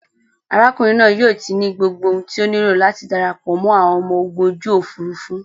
Arákùnrin naa yóò ti ní gbogbo ohun tí o nílò láti darapọ̀ mọ́ àwọn ọmọ ogun ojú òfurufú